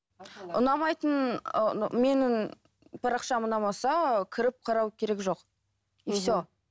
ұнамайтын ыыы менің парақшам ұнамаса кіріп қарау керек жоқ и все